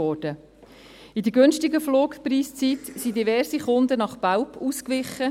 In der günstigen Flugpreiszeit wichen diverse Kunden nach Belp aus;